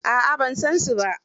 A'a ban san su ba.